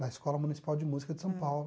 Na Escola Municipal de Música de São Paulo.